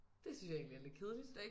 Det synes jeg egentlig er lidt kedeligt